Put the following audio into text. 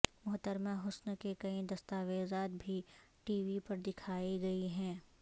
محترمہ حسن کے کئی دستاویزات بھی ٹی وی پر دکھائی گئی ہیں